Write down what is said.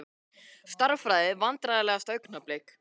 Stærðfræði Vandræðalegasta augnablik?